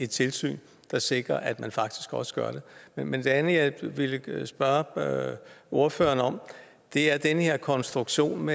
tilsyn der sikrer at man faktisk også gør det men det andet jeg vil spørge ordføreren om er den her konstruktion